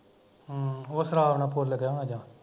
ਹਮ ਉਹ ਸ਼ਰਾਬ ਨਾਲ਼ ਫੁੱਲ ਗਿਆ ਹੁਣਾ ਜਾਂ